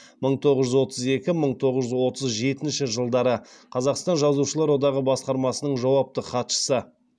мың тоғыз жүз отыз екі мың тоғыз жүз отыз жетінші жылдары қазақстан жазушылар одағы басқармасының жауапты хатшысы